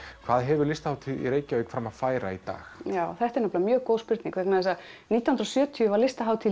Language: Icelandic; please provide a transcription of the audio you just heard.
hvað hefur Listahátíð í Reykjavík fram að færa í dag þetta er mjög góð spurning vegna þess að nítján hundruð og sjötíu var Listahátíð